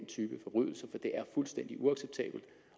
type forbrydelse for det er fuldstændig uacceptabelt